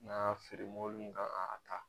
N'an y'a feere mobili min kan ka a ta.